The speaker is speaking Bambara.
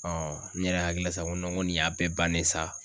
n yɛrɛ hakili la sa ko nin y'a bɛɛ bannen ye sa